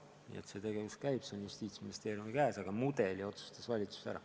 Nii et see tegevus käib, tööjärg on Justiitsministeeriumi käes, aga mudeli otsustas valitsus ära.